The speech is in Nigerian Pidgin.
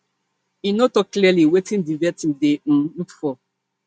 e no tok clearly wetin di vetting dey um look for